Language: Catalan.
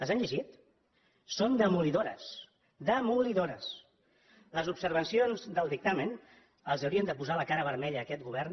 les han llegit són demolidores demolidores les observacions del dictamen haurien de posar la cara vermella a aquest govern